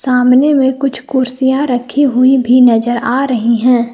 सामने में कुछ कुर्सियां रखी हुई भी नजर आ रही हैं।